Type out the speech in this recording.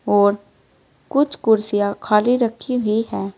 और कुछ कुर्सियां खाली रखी हुई है।